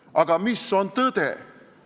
Aga mis on tõde?